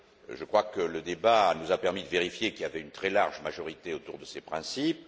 Je crois que le débat nous a permis de vérifier qu'il y avait une très large majorité autour de ces principes.